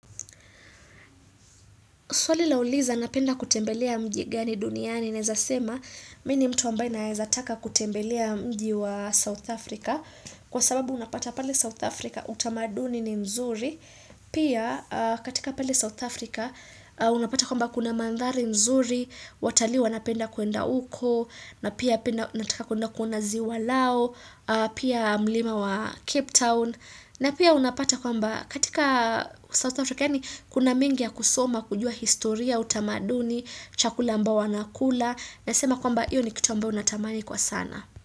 Swali lauliza napenda kutembelea mji gani duniani naeza sema mimi ni mtu ambaye naaza taka kutembelea mji wa South Africa. Kwa sababu unapata pale South Africa utamaduni ni mzuri. Pia katika pale South Africa unapata kwamba kuna mandhari mzuri, watalii wanapenda kuenda uko, na pia nataka kuenda kuona ziwa lao, pia mlima wa Cape Town. Na pia unapata kwamba katika South Africa yaani kuna mengi ya kusoma kujua historia, utamaduni, chakula ambayo wanakula naesa sema kwamba hiyo ni kitu ambayo natamani kwa sana.